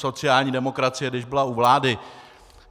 Sociální demokracie, když byla u vlády...